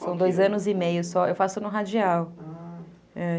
São dois anos e meio só, eu faço no radial.